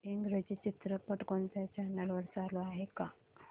इंग्रजी चित्रपट कोणत्या चॅनल वर चालू आहे का